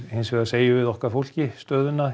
hins vegar segjum við okkar fólki stöðuna